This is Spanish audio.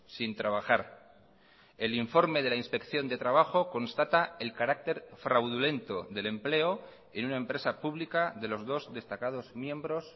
sin trabajar el informe de la inspección de trabajo constata el carácter fraudulento del empleo en una empresa pública de los dos destacados miembros